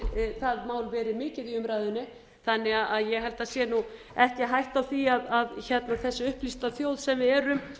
verið mikið í umræðunni þannig að ég held að sé nú ekki hætta á því að þessi upplýsta þjóð sem við erum